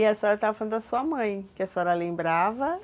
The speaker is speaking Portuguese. E a senhora estava falando da sua mãe, que a senhora lembrava...